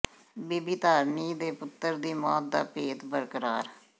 ਬੀਬੀ ਧਾਰਨੀ ਤੇ ਪੁੱਤਰ ਦੀ ਮੌਤ ਦਾ ਭੇਤ ਬਰਕਰਾਰ